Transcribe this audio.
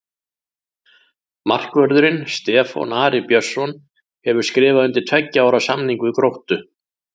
Markvörðurinn Stefán Ari Björnsson hefur skrifað undir tveggja ára samning við Gróttu.